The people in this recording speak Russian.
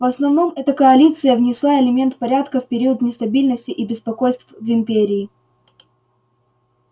в основном эта коалиция внесла элемент порядка в период нестабильности и беспокойств в империи